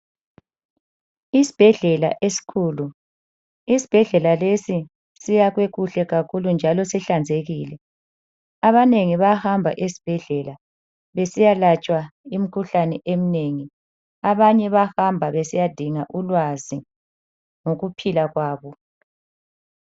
Isibhedlela esikhulu, isibhedlela lesi siyakhwe kuhle kakhulu njalo sihlanzekile abanengi bayahamba esibhedlela besiya latshwa imikhuhlane eminengi abanye bayahamba besiya dinga ulwazi lokuphila kwabo.